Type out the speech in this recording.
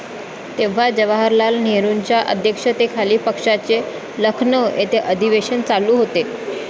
तेव्हा जवाहरलाल नेहरूंच्या अध्यक्षतेखाली पक्षाचे लखनौ येथे अधिवेशन चालू होते.